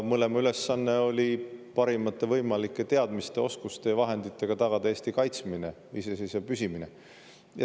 Mõlema ülesanne on olnud parimate võimalike teadmiste, oskuste ja vahenditega tagada Eesti kaitsmine ja iseseisvana püsimine.